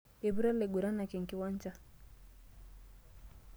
Eiputa laiguranak enkiwancha.